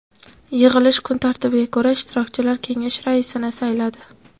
Yig‘ilish kun tartibiga ko‘ra, ishtirokchilar kengash raisini sayladi.